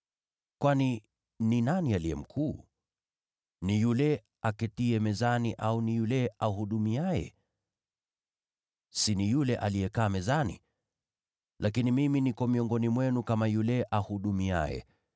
Kwani ni nani aliye mkuu? Ni yule aketiye mezani au ni yule ahudumuye? Si ni yule aliyekaa mezani? Lakini mimi niko miongoni mwenu kama yule ahudumuye.